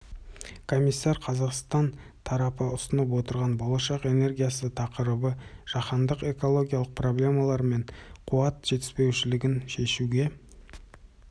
комиссар қазақстан тарапы ұсынып отырған болашақтың энергиясы тақырыбы жаһандық экологиялық проблемалар мен қуат жетіспеушілігін шешуге